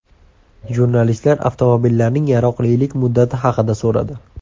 Jurnalistlar avtomobillarning yaroqlilik muddati haqida so‘radi.